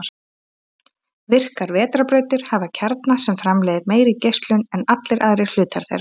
Virkar vetrarbrautir hafa kjarna sem framleiðir meiri geislun en allir aðrir hlutar þeirra.